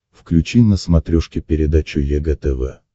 включи на смотрешке передачу егэ тв